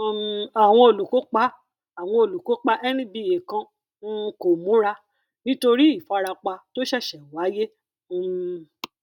um àwọn olùkópa àwọn olùkópa nba kan um kò múra nítorí ìfarapa tó ṣẹṣẹ wáyé um